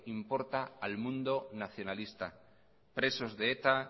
importa al mundo nacionalista presos de eta